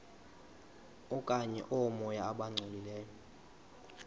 okanye oomoya abangcolileyo